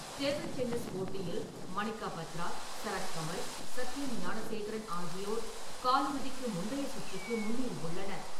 Table tennis போட்டியில் மணிக்கா பத்ரா, சரத் கமல், சத்தியன் ஞானசேகரன் ஆகியோர் காலிறுதிக்கு முந்தைய சுற்றுக்கு முன்னேறி உள்ளனர்.